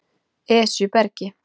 Esjubergi